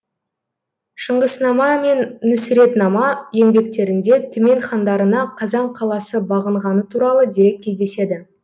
шыңғыснама мен нүсретнама еңбектерінде түмен хандарына қазан қаласы бағынғаны туралы дерек кездеседі